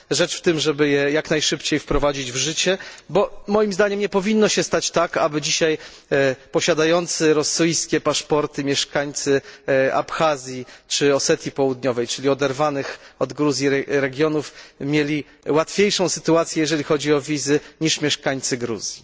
Rzecz w tym, żeby je jak najszybciej wprowadzić w życie, bo moim zdaniem nie powinno się stać tak, aby dzisiaj posiadający rosyjskie paszporty mieszkańcy Abchazji czy Osetii Południowej, czyli oderwanych od Gruzji regionów, mieli łatwiejszą sytuację, jeżeli chodzi o wizy, niż mieszkańcy Gruzji.